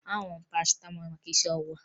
Aṅụrụ m parasịtamọọlụ maka isi ọwụwa m